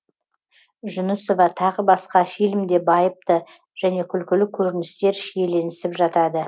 жүнісова тағы басқа фильмде байыпты және күлкілі көріністер шиеленісіп жатады